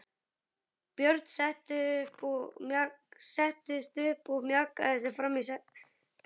Björn settist upp og mjakaði sér fram í setinu.